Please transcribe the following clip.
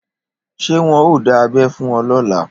Ṣé wọn ò dá abẹ́ fún ọ lọ́la?